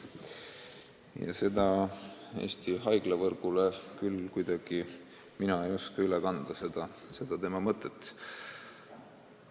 Ja Eesti haiglavõrgule mina küll ei oska seda tema mõtet üle kanda.